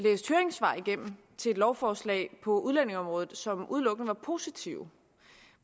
lovforslag på udlændingeområdet som udelukkende var positive